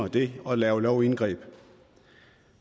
det og laver lovindgreb